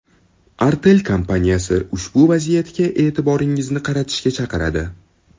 Artel kompaniyasi ushbu vaziyatgi e’tiboringizni qaratishga chaqiradi.